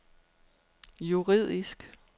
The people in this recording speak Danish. juridisk